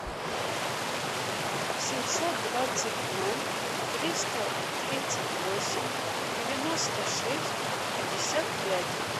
семьсот двадцать ноль триста тридцать восемь девяносто шесть пятьдесят пять